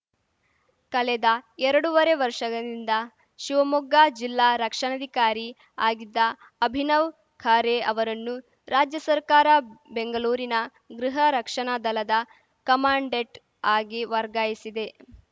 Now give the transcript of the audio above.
ಕಲೆದ ಎರಡೂವರೆ ವರ್ಷದಿಂದ ಶಿವಮೊಗ್ಗ ಜಿಲ್ಲಾ ರಕ್ಷಣಾಧಿಕಾರಿ ಆಗಿದ್ದ ಅಭಿನವ್‌ ಖರೆ ಅವರನ್ನು ರಾಜ್ಯ ಸರ್ಕಾರ ಬೆಂಗಲೂರಿನ ಗೃಹ ರಕ್ಷಕದಲದ ಕಮಾಂಡೆಂಟ್‌ ಆಗಿ ವರ್ಗಾಯಿಸಿದೆ